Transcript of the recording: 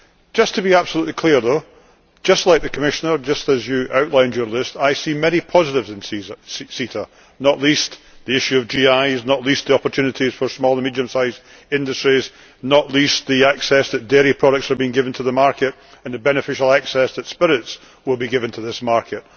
Just to be absolutely clear, though just like the Commissioner, just as was outlined on the list I see many positives in CETA, not least the issue of GIs, not least the opportunities for small and medium sized industries, not least the access that dairy products are being given to the market and the beneficial access that spirits will be given to this market.